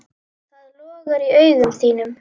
Það logar í augum þínum.